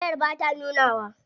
Wayar bata nunawa.